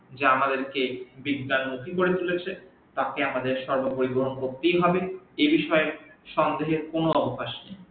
যা আমাদের কে বিজ্ঞান মুখি করে তুলেছে তাকে আমাদের সর্ব পরিবহন করতে হবে এই বিষয়ে সন্দেহের কোন অবকাশ নেই